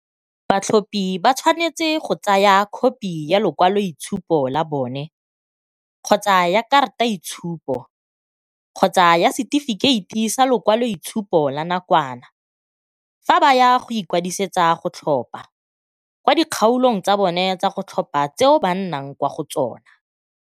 Batlhophi ba tshwanetse go tsaya khopi ya lekwa loitshupo la bone kgotsa ya karataitshupo kgotsa ya se tifikheiti sa lekwaloitshupo la nakwana fa ba ya go ikwadisetsa go tlhopha kwa di kgaolong tsa bona tsa go tlhopha tseo ba nnang kwa go tsona.